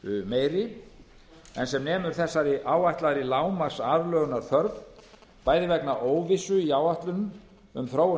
meiri en sem nemur þessari áætlaðri lágmarksaðlögunarþörf bæði vegna óvissu í áætlunum um þróun